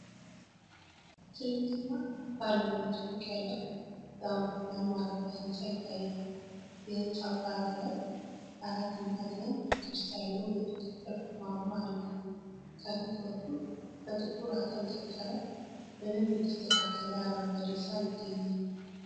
ትልቅና ባለ ሁለት ፎቅ ያለው የአውሮፕላን ማረፊያ ሕንፃ ይታያል። የህንፃው ጣሪያ ላይ አራት ማዕዘን ቅርጽ ያለው የቁጥጥር ማማ አለ። ከፊት በኩል በጥቁር አጥር የታጠረ፣ በደንብ የተስተካከለ አረንጓዴ ሳር ይገኛል።